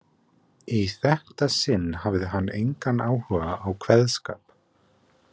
Í þetta sinn hafði hann engan áhuga á kveðskap.